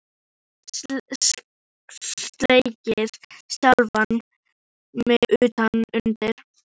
Oft slegið sjálfan mig utan undir.